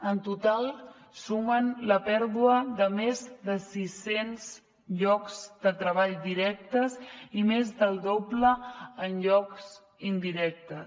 en total sumen la pèrdua de més de sis cents llocs de treball directes i més del doble en llocs indirectes